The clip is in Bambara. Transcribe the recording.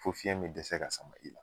Fo fiɲɛ me dɛsɛ ka sama i la